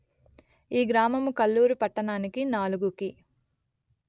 ఈ గ్రామము కల్లూరు పట్టణానికి నాలుగు కి